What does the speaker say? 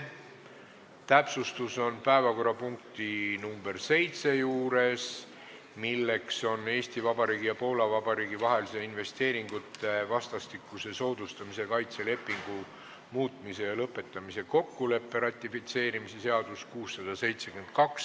Täpsustus puudutab päevakorrapunkti nr 7, milleks on Eesti Vabariigi ja Poola Vabariigi vahelise investeeringute vastastikuse soodustamise ja kaitse lepingu muutmise ja lõpetamise kokkuleppe ratifitseerimise seaduse eelnõu esimene lugemine.